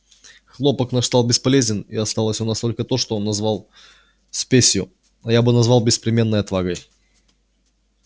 хлопок наш стал бесполезен и осталось у нас только то что он назвал спесью а я бы назвал беспримерной отвагой